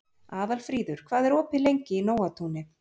Aðalfríður, hvað er opið lengi í Nóatúni?